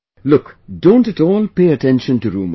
Look, don't at all pay attention to rumours